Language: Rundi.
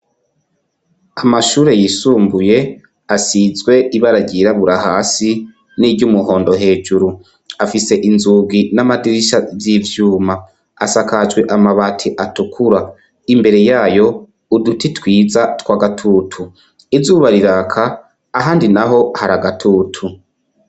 Ku mashure yisumbuye asizwe ibara ryirabura hasi, n'iry'umuhondo hejuru. afise inzugi n'amadirisha vy'ivyuma. Asakajwe amabati atukura. Imbere yayo, uduti twiza tw'agatutu. Izuba riraka, ahandi na ho hari agatutu.